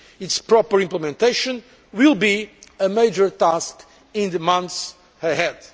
Its proper implementation will be a major task in the months ahead.